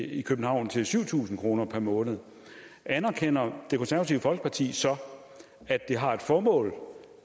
i københavn til syv tusind kroner om måneden anerkender det konservative folkeparti så at det har et formål